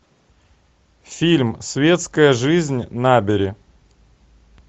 фильм светская жизнь набери